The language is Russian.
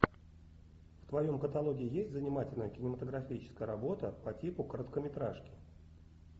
в твоем каталоге есть занимательная кинематографическая работа по типу короткометражки